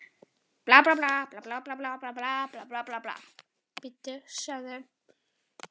Lækjartorg, ryskingar hófust og brátt logaði allt í slagsmálum.